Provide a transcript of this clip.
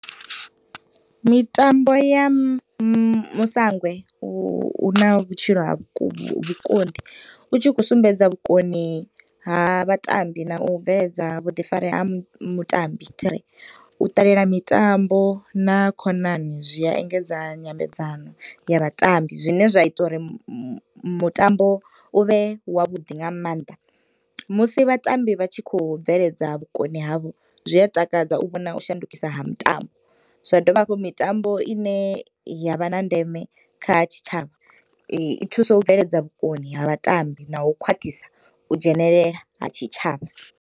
Mitambo ya musangwe u huna vhutshilo ha vhuku vhukondi utshikho sumbedza vhukoni ha vhatambi na u bveledza vhuḓifari ha mutambi thiri. U ṱalela mitambo na khonani zwiya engedza nyambedzano ya vhatambi zwine zwa ita uri mutambo u vhe wa vhuḓi nga maanḓa. Musi vhatambi vhatshikho bveledza vhukoni havho zwiatakadza u vhona u shandukisa ha mutambo zwadivha hafho mitambo ine yavha na ndeme kha tshitshavha i thusa u bveledza vhukoni ha vhatambi na u khwaṱhisa u dzhenelela ha tshitshavha.